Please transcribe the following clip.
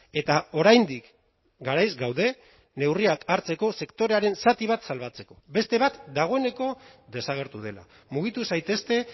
eta oraindik garaiz gaude neurriak hartzeko sektorearen zati bat salbatzeko beste bat dagoeneko desagertu dela mugitu zaitezte